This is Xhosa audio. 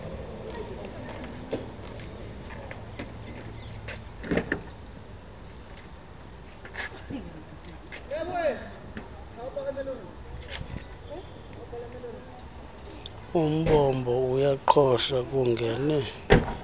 umbombo uyaqhosha kungene